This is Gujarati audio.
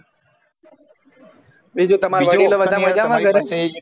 એજે તમારા વડીલો બધા મજામાં ઘરે